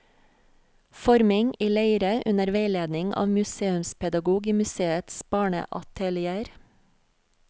Forming i leire under veiledning av museumspedagog i museets barneatelier.